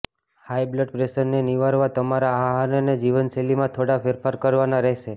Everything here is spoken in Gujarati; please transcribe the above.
હાઈ બ્લડ પ્રેશરને નિવારવા તમારા આહાર અને જીવનશૈલીમાં થોડા ફેરફાર કરવાના રહેશે